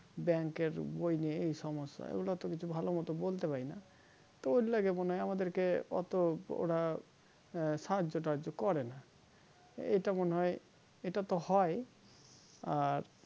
bank বই নিয়ে এই সমস্যা এগুলা এতকিছু ভালো মতো বলতে পারিনা তো ঐই লেগে মনে হয় আমাদের কে অটো োরো সাহায্য টাহাজ করে না ইটা মনে হয় ইটা তো হয় আর